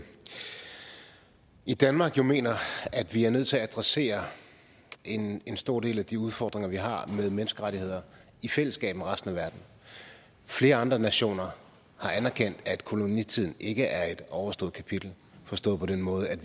i danmark mener at vi er nødt til at adressere en en stor del af de udfordringer vi har med menneskerettigheder i fællesskab med resten af verden flere andre nationer har anerkendt at kolonitiden ikke er et overstået kapitel forstået på den måde at